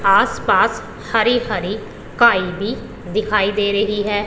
आसपास हरी हरी काई भी दिखाई दे रही है।